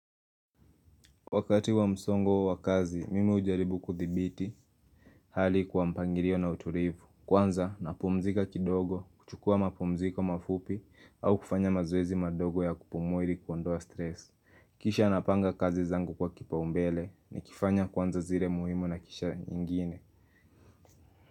Wakati wa msongo wa kazi, mimi hujaribu kuthibiti hali kwa mpangilio na utulivu, kwanza napumzika kidogo, kuchukua mapumziko mafupi au kufanya mazoezi madogo ya kupumua ili kuondoa stress. Kisha napanga kazi zangu kwa kipaumbele nikifanya kwanza zile muhimu na kisha nyingine.